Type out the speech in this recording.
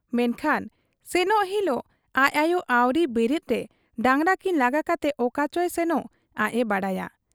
ᱢᱮᱱᱠᱷᱟᱱ ᱥᱮᱱᱚᱜ ᱦᱤᱞᱚᱜ ᱟᱡ ᱟᱭᱚ ᱟᱹᱣᱨᱤ ᱵᱮᱨᱮᱫ ᱨᱮ ᱰᱟᱝᱜᱽᱨᱟ ᱠᱤᱱ ᱞᱟᱜᱟ ᱠᱟᱛᱮ ᱚᱠᱟᱪᱚᱭ ᱥᱮᱱᱚᱜ ᱟᱡ ᱮ ᱵᱟᱰᱟᱭᱟ ᱾